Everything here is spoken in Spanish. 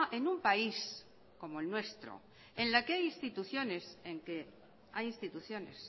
en un país como el nuestro en la que hay instituciones